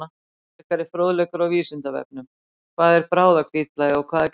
Frekari fróðleikur á Vísindavefnum: Hvað er bráðahvítblæði og hvað er gert við því?